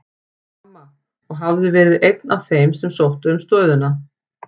Mamma, og hafði verið einn af þeim sem sóttu um stöðuna.